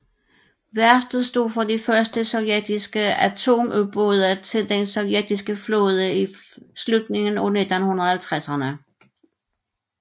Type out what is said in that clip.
Værftet stod for de første sovjetiske atomubåde til den sovjetiske flåde i slutningen af 1950erne